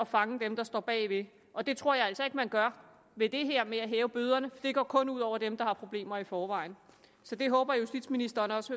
fange dem der står bagved og det tror jeg altså ikke man gør ved det her med at hæve bøderne det går kun ud over dem der har problemer i forvejen så det håber jeg justitsministeren også